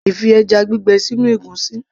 A lè fi ẹjá gbígbẹ sínú ègúsí